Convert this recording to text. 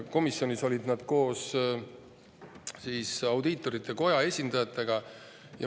Komisjonis olid nad koos audiitorkogu esindajatega.